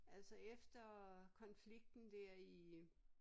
Altså efter konflikten der i